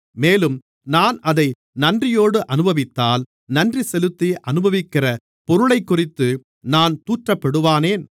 மேலும் நான் அதை நன்றியோடு அநுபவித்தால் நன்றிசெலுத்தி அனுபவிக்கிற பொருளைக்குறித்து நான் தூற்றப்படுவானேன்